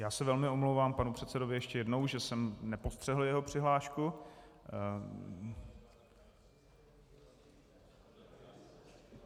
Já se velmi omlouvám panu předsedovi ještě jednou, že jsem nepostřehl jeho přihlášku.